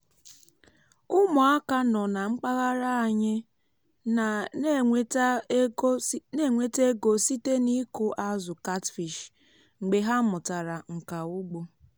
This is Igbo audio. ụmụaka nọ na mpaghara anyị na-enweta ego site n’ịkụ azụ catfish mgbe ha mụtara nka ugbo